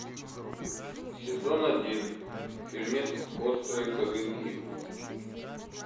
сезон один фильмец острые козырьки